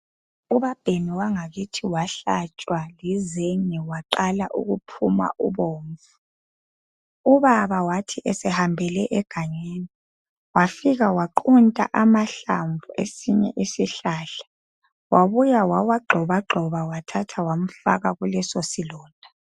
Ubabhemi wangakithi wahlatshwa lizenge waqala ukuphuma ubomvu, ubaba wathi esehambele egangeni wafika waqunta amahlamvu esinye isihlahla wabuya wawagxobagxoba wamfaka kuleso silonda.